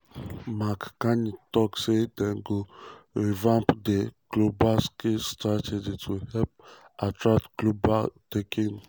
mark carney tok say dem go revamp di global skills strategy to help "attract top global talent." um